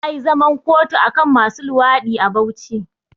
Za ayi zaman kotu akan masu luwaɗi a Bauchi